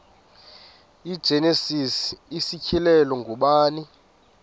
igenesis isityhilelo ngubani